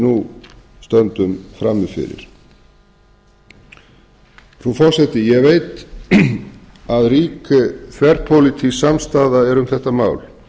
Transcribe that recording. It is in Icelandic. nú stöndum frammi fyrir frú forseti ég veit að rík þverpólitísk samstaða er um þetta mál